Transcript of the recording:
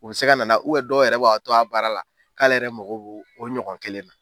U bɛ se ka nan'a ye dɔw yɛrɛ b'a' to a baara la k'ale yɛrɛ mago bɛ o ɲɔgɔn kelen na.